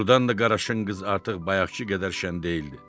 Doğrudan da qaraşın qız artıq bayaqkı qədər şən deyildi.